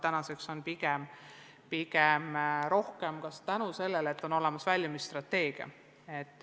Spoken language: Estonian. Tänaseks on teavet rohkem tänu sellele, et on olemas väljumisstrateegia.